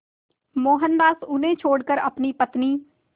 मोहनदास उन्हें छोड़कर अपनी पत्नी